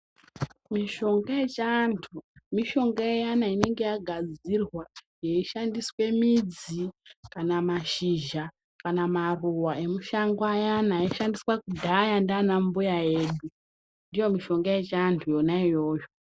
Mishonga yechiantu, mishonga iyana inenge yagadzirwa, yeichishandiswe midzi, mashizha kana maruwa emushango ayana aishandiswa kudhaya ndianambuya edu. Ndiyo mishonga yechiantu yonaiyoyo.